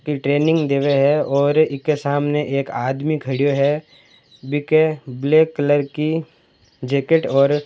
ट्रेनिंग देवें है और इके सामने एक आदमी खड़ी यो है जीके ब्लैक कलर की जैकेट और--